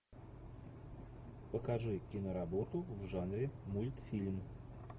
покажи киноработу в жанре мультфильм